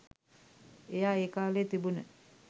එයා ඒ කාලේ තිබුණ